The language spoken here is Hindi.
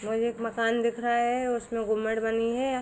और एक मकान दिख रहा है उसमे गुमट बनी है।